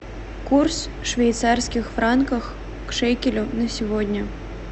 курс швейцарских франков к шекелю на сегодня